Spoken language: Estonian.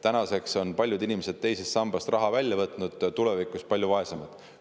Tänaseks on paljud inimesed teisest sambast raha välja võtnud ja nad on tulevikus palju vaesemad.